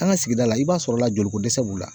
An ka sigida la i b'a sɔrɔla jolikodɛsɛ b'u la